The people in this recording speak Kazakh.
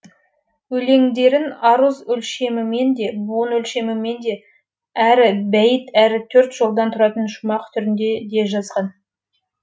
өлеңдерін аруз өлшемімен де буын өлшемімен де әрі бәйіт әрі төрт жолдан тұратын шумақ түрінде де жазған